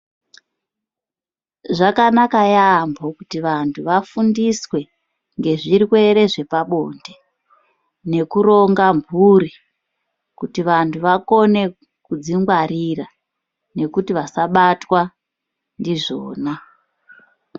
Zvakanaka yamho kuti vantu vafundiswe ngezvirwere zvepabonde nekuronga mhuri kuti vantu vakone kudzingwarira nekuti vasabatwa ndizvona.